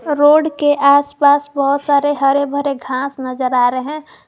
Road के आसपास बहुत सारे हरे भरे घास नजर आ रहे हैं।